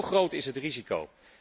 Zo groot is het risico.